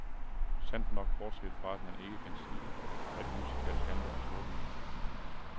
Sandt nok, bortset fra, at man ikke kan sige, at musicals handler om storbyen.